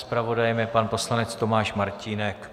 Zpravodajem je pan poslanec Tomáš Martínek.